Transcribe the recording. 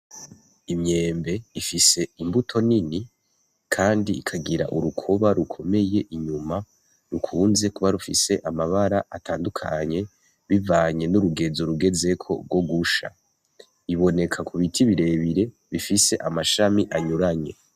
Umwembe ifise imbuto nini kandi ikagira urukoba rukomeye inyuma rukunze kuba rufise amabara tandukanye bivanye n'urugezo rugeze ko rwo gusha iboneka ku biti birebire bifise amashami anyuranye.